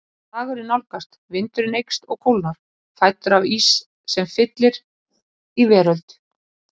Dagurinn nálgast, vindurinn eykst og kólnar, fæddur af ís sem fyllir út í veröld